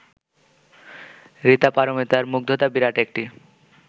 ঋতা পারমিতার মুগ্ধতা বিরাট একটি